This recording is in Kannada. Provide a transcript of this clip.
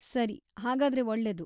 ಸರಿ, ಹಾಗಾದ್ರೆ ಒಳ್ಳೆದು.